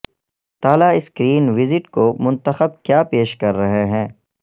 تالا سکرین ویجٹ کو منتخب کیا پیش کر رہے ہیں